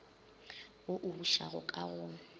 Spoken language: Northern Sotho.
wo o bušago ka go